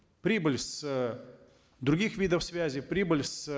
прибыль с других видов связи прибыль с